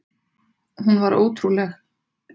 Hún var ótrúleg.